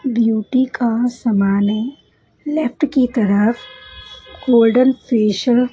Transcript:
beauty का समान है लेफ्ट की तरफ गोल्डन फेसल --